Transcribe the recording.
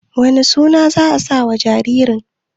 wane suna za a sawa jaririn?